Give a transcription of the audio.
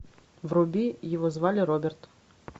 вруби его звали роберт